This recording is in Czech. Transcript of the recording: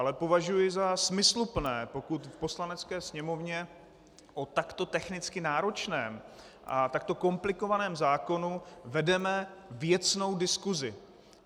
Ale považuji za smysluplné, pokud v Poslanecké sněmovně o takto technicky náročném a takto komplikovaném zákonu vedeme věcnou diskusi.